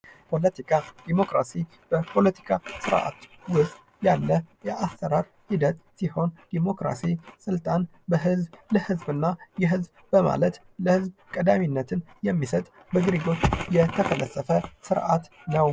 ፖለቲካ ዲሞክራሲ በፖለቲካ ስርአት ዉስጥ ያለ የአሰራር ሂደት ሲሆን ዲሞክራሲ ስልጣን ከህዝብ ለህዝብ እና የህዝብ በማለት ለህዝብ ቀዳሚነትን የሚሰጥ በግሪኮች የተፈለሰፈ ስርአት ነው።